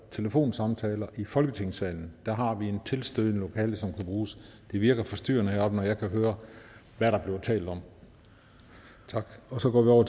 telefonsamtaler i folketingssalen der har vi et tilstødende lokale som kan bruges det virker forstyrrende heroppe når jeg kan høre hvad der bliver talt om tak så går